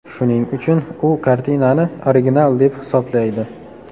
Shuning uchun u kartinani original deb hisoblaydi.